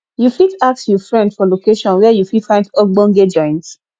you fit ask you friend for location where you fit find ogbonge joint